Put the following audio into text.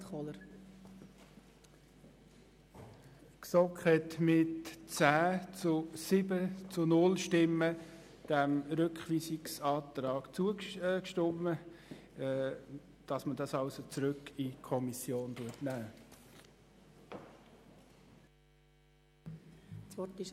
Die GSoK hat diesem Rückweisungsantrag mit 10 zu 7 Stimmen bei 0 Enthaltungen zugestimmt, damit sie diese Fragestellung genauer anschauen kann.